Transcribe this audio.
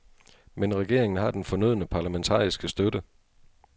Men regeringen har den fornødne parlamentariske støtte.